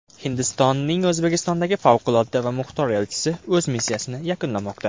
Hindistonning O‘zbekistondagi Favqulodda va muxtor elchisi o‘z missiyasini yakunlamoqda.